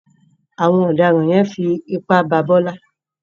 Àwọn ọ̀daràn yẹn fi ipá bá Bọ́lá.